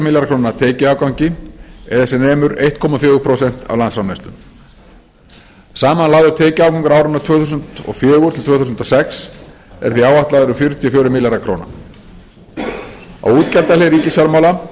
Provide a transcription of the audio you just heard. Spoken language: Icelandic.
milljarða króna tekjuafgangi eða sem nemur einum komma fjögur prósent af landsframleiðslu samanlagður tekjuafgangur árin tvö þúsund og fjögur til tvö þúsund og sex er því áætlaður um fjörutíu og fjórir milljarðar króna á útgjaldahlið ríkisfjármála